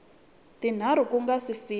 tinharhu ku nga si fika